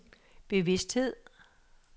bevidsthed